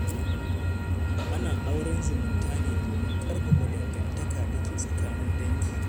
Ana auren zumunta ne domin ƙarfafa dangantakar da ke tsakanin dangi.